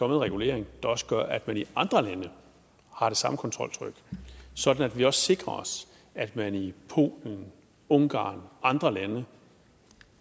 regulering der også gør at man i andre lande har det samme kontroltryk sådan at vi også sikrer os at man i polen ungarn og andre lande